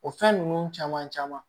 O fɛn ninnu caman caman